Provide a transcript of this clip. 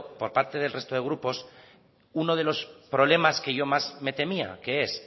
por parte del resto de grupos uno de los problemas que yo más me temía que es